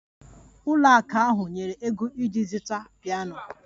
Ụlọ ụka ahụ nyere ego iji zụta piano